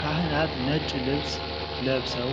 ካህናት ነጭ ልብስ ለብሰው